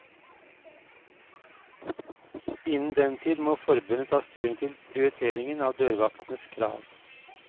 Innen den tid må forbundet ta stilling til prioriteringen av dørvaktenes krav.